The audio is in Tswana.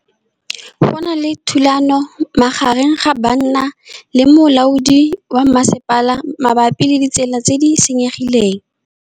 Go na le thulanô magareng ga banna le molaodi wa masepala mabapi le ditsela tse di senyegileng.